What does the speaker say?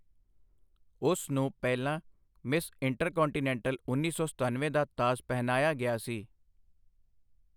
ਉਸ ਨੂੰ ਪਹਿਲਾਂ ਮਿਸ ਇੰਟਰਕਾਂਟੀਨੈਂਟਲ ਉੱਨੀ ਸੌ ਸਤਨਵੇਂ ਦਾ ਤਾਜ ਪਹਿਨਾਇਆ ਗਿਆ ਸੀ।